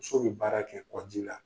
Muso be baara kɛ kɔ ji la.